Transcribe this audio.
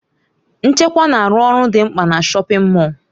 Nchekwa na-arụ ọrụ dị mkpa na shọpin Mọll.